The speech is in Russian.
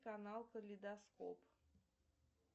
канал калейдоскоп